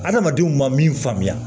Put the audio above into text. Adamadenw ma min faamuya